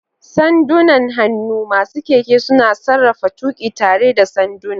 Sandunan hannu: Masu keke suna sarrafa tuƙi tare da sanduna.